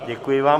Děkuji vám.